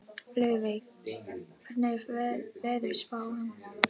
Laufey, hvernig er veðurspáin?